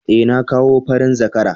Eh, na kawo farin zakara